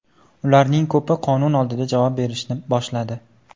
Ularning ko‘pi qonun oldida javob berishni boshladi.